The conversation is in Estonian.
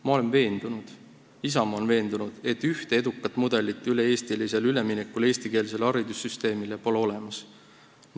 Ma olen veendunud, Isamaa on veendunud, et ühte edukat mudelit üle-eestilisel üleminekul eestikeelsele haridussüsteemile pole olemas.